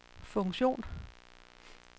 funktion